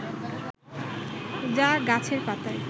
যা গাছের পাতায়